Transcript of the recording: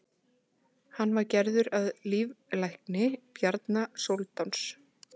hann var svo gerður að líflækni bjarna sóldáns